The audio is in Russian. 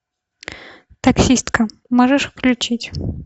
таксистка можешь включить